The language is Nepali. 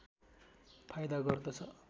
फाइदा गर्दछ